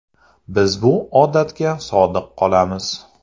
Biz bu odatga sodiq qolamiz.